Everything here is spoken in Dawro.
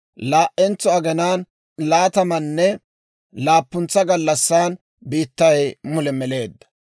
Laa"entso aginaan laatamanne laappuntsa gallassan, biittay mule meleedda.